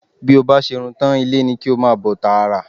Bí o bá ṣe irun tán, ilé ni kí o máa bọ̀ tààrà